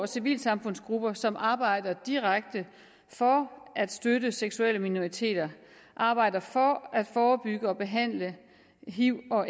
civilsamfundsgrupper som arbejder direkte for at støtte seksuelle minoriteter arbejder for at forebygge og behandle hiv og